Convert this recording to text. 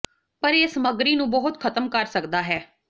ਪਰ ਇਹ ਸਮੱਗਰੀ ਨੂੰ ਬਹੁਤ ਖਤਮ ਕਰ ਸਕਦਾ ਹੈ